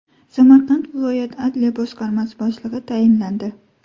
Samarqand viloyat Adliya boshqarmasi boshlig‘i tayinlandi.